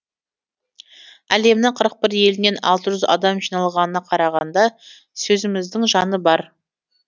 әлемнің қырық бір елінен алты жүз адам жиналғанына қарағанда сөзіміздің жаны бар